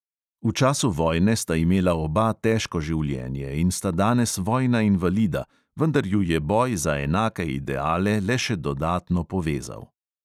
V času vojne sta imela oba težko življenje in sta danes vojna invalida, vendar ju je boj za enake ideale le še dodatno povezal.